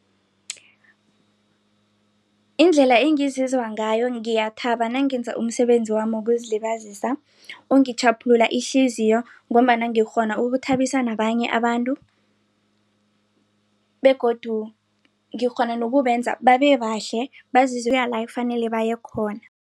Indlela engizizwa ngayo ngiyathaba nangenza umsebenzi wami wokuzilibazisa ungitjhaphula ihliziyo ngombana ngikghona ukuthabisa nabanye abantu begodu ngikghona nokubenza babebahle kuya la ekufanele bayekhona.